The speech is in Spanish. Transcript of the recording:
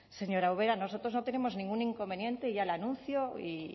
señora ubera nosotros no tenemos ningún inconveniente ya le anuncio y